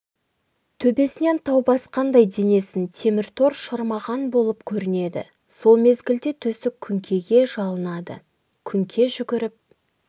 төбесінен тау басқандай денесін темір тор шырмаған болып көрінеді сол мезгілде төстік күңкеге жалынады күңке жүгіріп